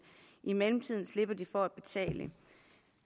i mellemtiden slipper de for at betale